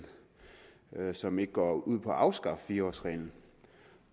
som ikke går ud på at afskaffe fire årsreglen